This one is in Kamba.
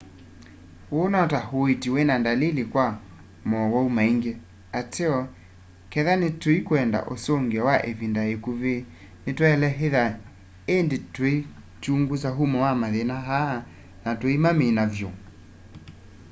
uu no ta uiiti wina ndalili kwa mowau maingi ateo kethwa tuikwenda usungio wa ivinda ikuvi nitwaile ithwa indi tuikyungusa umo wa mathina aa na tuimamina vyu